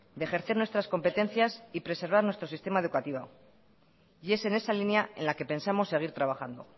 de ejercer nuestras competencias y preservar nuestro sistema educativo y es en esa línea en la que pensamos seguir trabajando